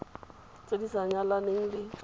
tse di sa nyalaneleng le